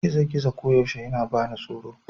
gizo-gizo koyaushe yana bani tsaro